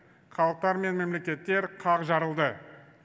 халықтар мен мемлекеттер қақ жарылды